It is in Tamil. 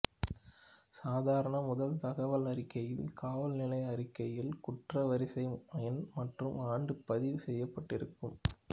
சாதாரண முதல் தகவல் அறிக்கையில் காவல் நிலைய அறிக்கையில் குற்ற வரிசை எண் மற்றும் ஆண்டு பதிவு செய்யப்பட்டிருக்கும்